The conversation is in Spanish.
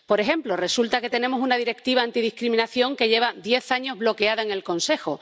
Por ejemplo, resulta que tenemos una Directiva antidiscriminación que lleva diez años bloqueada en el Consejo.